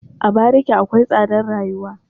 A bariki akwai tsadar rayuwa.